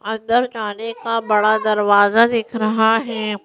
अंदर जाने का बड़ा दरवाजा दिख रहा है।